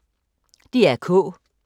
DR K